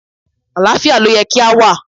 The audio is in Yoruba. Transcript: Àlàáfíà ló yẹ kí á wà.